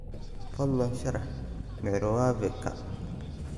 fadlan sharax microwave ka